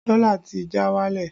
Dọ́là ti já wálẹ̀